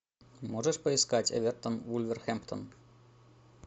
можешь поискать эвертон вулверхэмптон